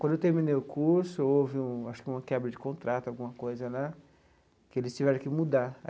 Quando eu terminei o curso, houve um acho que uma quebra de contrato, alguma coisa lá, que eles tiveram que mudar.